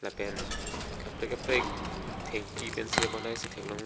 lapen kaprek kaprek thengpi pensi bonai si theklong lo.